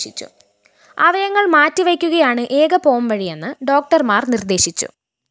അവയവങ്ങള്‍ മാറ്റിവയ്ക്കുകയാണ് ഏക പോംവഴിയെന്ന് ഡോക്ടര്‍മാര്‍ നിര്‍ദേശിച്ചു